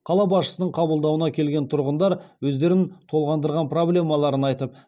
қала басшысының қабылдауына келген тұрғындар өздерін толғандырған проблемаларын айтып